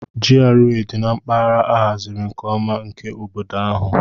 GRA dị na mpaghara a haziri nke ọma nke obodo ahụ.